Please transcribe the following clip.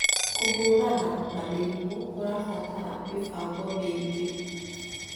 kũhũrana na mĩrimũ kũrabatara mĩbango mĩingĩ